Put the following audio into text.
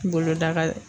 Boloda ka